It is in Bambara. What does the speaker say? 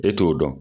E t'o dɔn